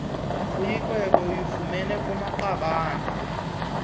uyinkwenkwe uyifumene kumaqabane